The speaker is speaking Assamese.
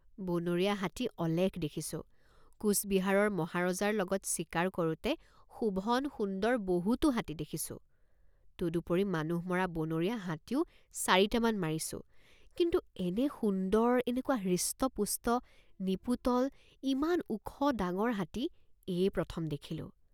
বনৰীয়া হাতী অলেখ দেখিছোঁ কোচবিহাৰৰ মহাৰজাৰ লগত চিকাৰ কৰোঁতে শোভনসুন্দৰ বহুতো হাতী দেখিছোঁ তদুপৰি মানুহ মৰা বনৰীয়া হাতীও চাৰিটামান মাৰিছোঁ কিন্তু এনে সুন্দৰ এনেকুৱা হৃষ্টপুষ্ট নিপোটল ইমান ওখ ডাঙৰ হাতী এয়েই প্ৰথম দেখিলোঁ।